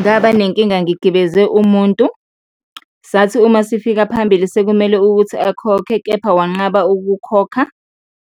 Ngaba nenkinga ngigibeze umuntu, sathi uma sifika phambili sekumele ukuthi akhokhe kepha wanqaba ukukhokha,